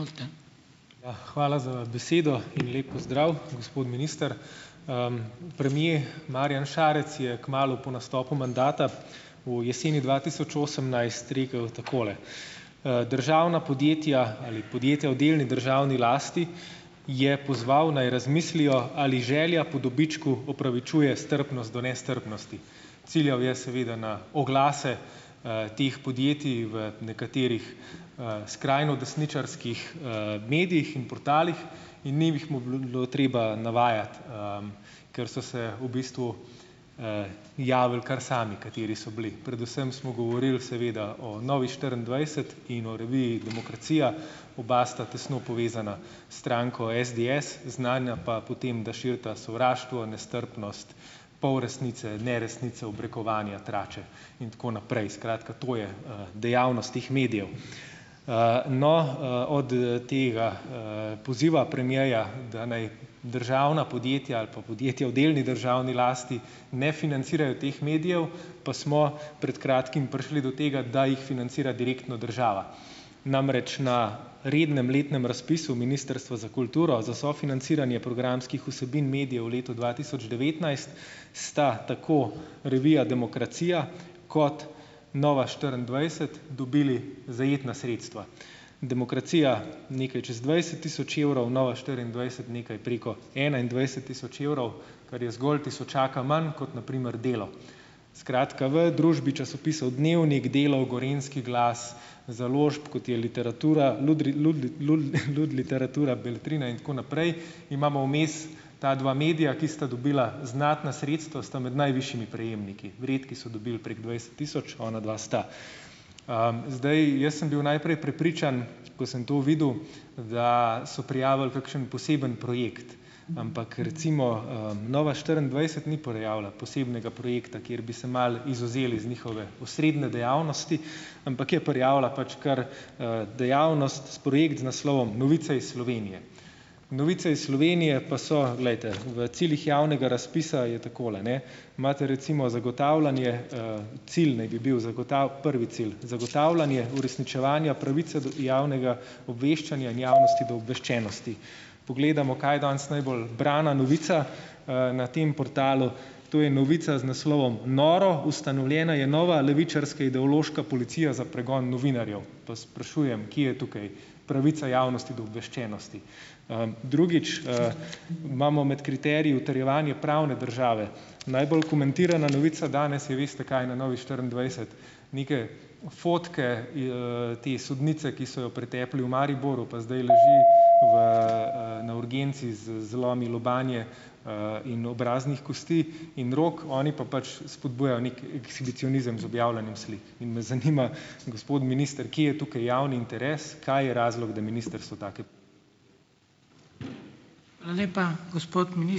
Ja, hvala za besedo in lep pozdrav , gospod minister. premier Marjan Šarec je kmalu po nastopu mandata v jeseni dva tisoč osemnajst rekel takole , državna podjetja ali podjetja v delni državni lasti je pozval, naj razmislijo, ali želja po dobičku opravičuje strpnost do nestrpnosti. Ciljal je seveda na oglase, teh podjetij v nekaterih, skrajno desničarskih, medijih in portalih in ni mih mu treba navajati, ker so se v bistvu, javili kar sami, kateri so bili. Predvsem smo govorili seveda o Novi štiriindvajset in o reviji Demokracija . Oba sta tesno povezana s stranko SDS. Znana pa po tem, da širita sovraštvo, nestrpnost, polresnice, neresnice, obrekovanja, trače in tako naprej. Skratka, to je, dejavnost teh medijev. no, od tega, poziva premierja, da ne državna podjetja ali pa podjetja v delni državni lasti ne financirajo teh medijev, pa smo pred kratkim prišli do tega, da jih financira direktno država. Namreč na rednem letnem razpisu Ministrstva za kulturo za sofinanciranje programskih vsebin medijev v letu dva tisoč devetnajst sta tako revija Demokracija kot Nova štiriindvajset dobili zajetna sredstva. Demokracija nekaj čez dvajset tisoč evrov, Nova štiriindvajset nekaj preko enaindvajset tisoč evrov, kar je zgolj tisočaka manj kot na primer Delo. Skratka, v družbi časopisov Dnevnik, Delo, Gorenjski glas, založb, kot je Literatura, Lud Literatura, Beletrina in tako naprej, imamo vmes ta dva medija, ki sta dobila znatna sredstva, sta med najvišjimi prejemniki. Redki so dobili prek dvajset tisoč, onadva sta. zdaj, jaz sem bil najprej prepričan, ko sem to videl, da so prijavili kakšen poseben projekt. Ampak recimo, Nova štiriindvajset ni prijavila posebnega projekta, ker bi se malo izvzeli z njihove osrednje dejavnosti, ampak je prijavila pač kar, dejavnost, s projekt z naslovom Novice iz Slovenije. Novice iz Slovenije pa so, glejte , v ciljih javnega razpisa je takole, ne: imate recimo zagotavljanje, cilj naj bi bil prvi cilj, zagotavljanje uresničevanja pravice do javnega obveščanja in javnosti do obveščenosti. Gledamo, kaj je danes najbolj brana novica, na tem portalu, to je novica z naslovom: Noro! Ustanovljena je nova levičarska ideološka policija za pregon novinarjev. Vas sprašujem, kje je tukaj pravica javnosti do obveščenosti? drugič, imamo med kriteriji utrjevanje pravne države. Najbolj komentirana novica danes je, veste kaj na Novi štiriindvajset? Neke fotke te sodnice, ki so jo pretepli v Mariboru pa zdaj leži v, na urgenci z zlomi lobanje, in obraznih kosti in rok, oni pa pač spodbujajo neki ekshibicionizem z objavljanjem slik. In me zanima, gospod minister, kje je tukaj javni interes, kaj je razlog, da ministrstvo take ...